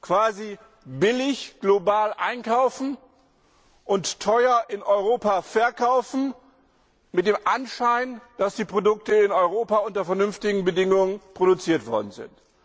quasi billig global einkaufen und teuer in Europa verkaufen mit dem Anschein, dass die Produkte in Europa unter vernünftigen Bedingungen produziert worden sind.